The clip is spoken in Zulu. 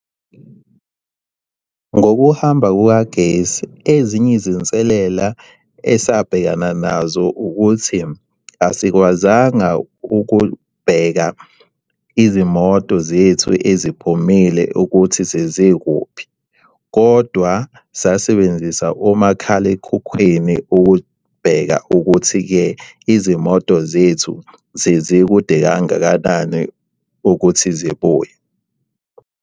Ngokuhamba kukagesi, ezinye izinselela esabhekana nazo ukuthi asikwazanga ukubheka izimoto zethu eziphumile ukuthi sezikuphi, kodwa sasebenzisa omakhalekhukhwini ukubheka ukuthi-ke izimoto zethu zezikude kangakanani ukuthi zibuye.